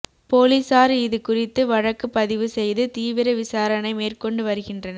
போலீசார் இது குறித்து வழக்கு பதிவு செய்து தீவிர விசாரணை மேற்கொண்டு வருகின்றனர்